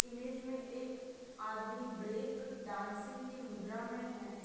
Image में एक आदमी ब्रेक डांसिंग की मुद्रा में है।